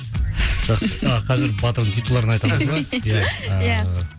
жақсы қазір батыр титулдарын айтасыз ба ия